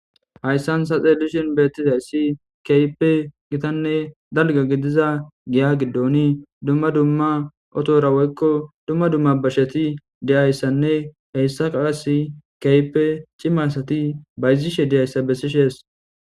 hayssan ta xelishon beettizayssi kaype gitanne dalga gidiza giya giddoni dumma dumma otora woykko dumma dumma basheti diyayssanne heyssa qaasi kype cimasati bayzishe deyayssa bessishes